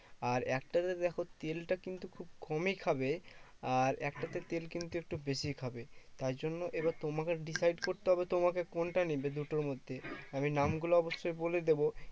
আর একটাতে দেখো তেলটা কিন্তু খুব কমই খাবে। আর একটাতে তেল কিন্তু বেশি খাবে। তাইজন্য এবার তোমাকে decide করতে হবে তোমাকে কোনটা নেবে দুটোর মধ্যে। আমি নামগুলো অবশ্যই বলে দেব।